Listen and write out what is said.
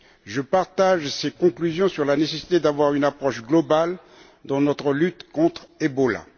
Je partage ses conclusions sur la nécessité d'avoir une approche globale dans notre lutte contre le virus Ebola.